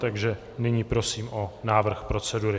Takže nyní prosím o návrh procedury.